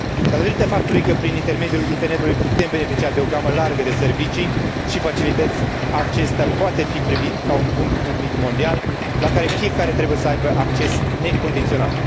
Datorită faptului că pin intermediul internetului putem beneficia de o gamă largă de servicii și facilități, acesta poate fi privit ca un bun public mondial la care fiecare trebuie să aibă acces necondiționat.